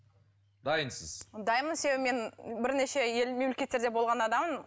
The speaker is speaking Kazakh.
дайынсыз дайынмын себебі мен бірнеше ел мемлекеттерде болған адаммын